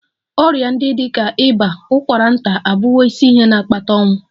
Ọrịa ndị dị ka ịba, ụkwara nta abụwo isi ihe na-akpata ọnwụ